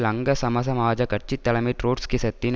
லங்கா சமசமாஜக் கட்சி தலைமை ட்ரொட்ஸ்கிசத்தின்